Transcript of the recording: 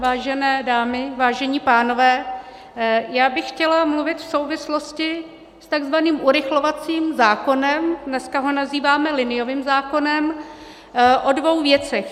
Vážené dámy, vážení pánové, já bych chtěla mluvit v souvislosti s takzvaným urychlovacím zákonem, dneska ho nazýváme liniovým zákonem, o dvou věcech.